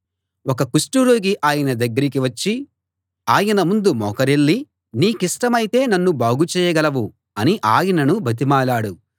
ఒక కుష్టురోగి ఆయన దగ్గరికి వచ్చి ఆయన ముందు మోకరిల్లి నీకిష్టమైతే నన్ను బాగు చేయగలవు అని ఆయనను బతిమాలాడు